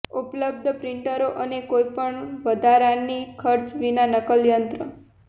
ઉપલબ્ધ પ્રિન્ટરો અને કોઈપણ વધારાની ખર્ચ વિના નકલ યંત્ર